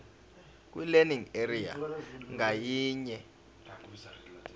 kwilearning area ngayinye